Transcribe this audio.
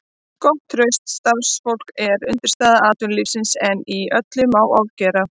Gott og traust starfsfólk er undirstaða atvinnulífsins en öllu má ofgera.